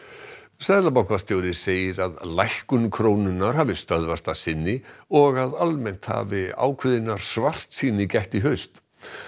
seðlabankastjóri segir að lækkun krónunnar hafi stöðvast að sinni og að almennt hafi ákveðinnar svartsýni gætt í haust